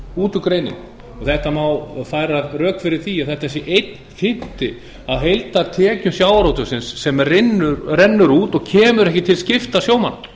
út úr greininni það má færa rök fyrir því að þetta sé einn fimmti af heildartekjum sjávarútvegsins sem rennur út og kemur ekkert til skipta sjómanna